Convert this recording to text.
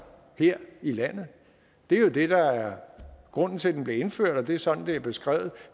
her i landet det er jo det der er grunden til at den blev indført og det er sådan det er beskrevet